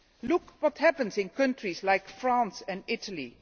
Look at what happens in countries like France and Italy.